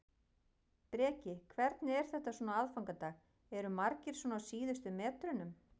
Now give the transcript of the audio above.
Breki: Hvernig er þetta svona á aðfangadag, eru margir svona á síðustu metrunum?